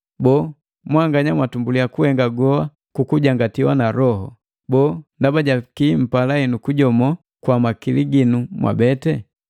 Boo, mwanganya mwang'ang'a hela? Mwanganya mwatumbulia kuhenga goa kukujangatiwa na Loho, boo, ndaba jaki mpala henu kujomoo kwa makili ginu mwabete?